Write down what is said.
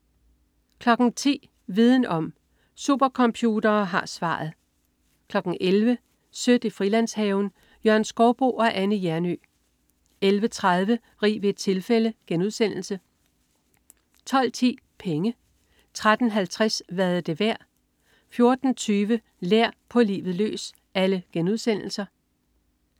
10.00 Viden om: Supercomputere har svaret 11.00 Sødt i Frilandshaven. Jørgen Skouboe og Anne Hjernøe 11.30 Rig ved et tilfælde* 12.10 Penge* 13.50 Hvad er det værd?* 14.20 Lær. På livet løs*